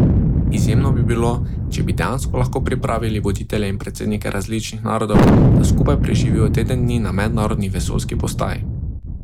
Izjemno bi bilo, če bi dejansko lahko pripravili voditelje in predsednike različnih narodov, da skupaj preživijo teden dni na Mednarodni vesoljski postaji.